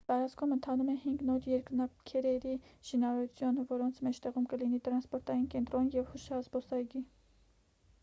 տարածքում ընթանում է հինգ նոր երկնաքերերի շինարարություն որոնց մեջտեղում կլինի տրանսպորտային կենտրոն և հուշազբոսայգի